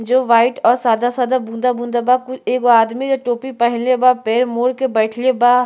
जो वाइट अ सादा-सादा बूंदा-बूंदा बा कुल। एगो आदमी अ टोपी पहिनले बा पैर मोर के बईठले बा।